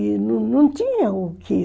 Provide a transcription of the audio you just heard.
E não tinha o quê.